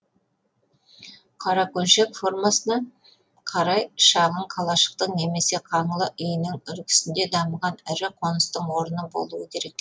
қаракөншек формасына қарай шағын калашықтың немесе қаңлы үйінің үлгісінде дамыған ірі қоныстың орны болуы керек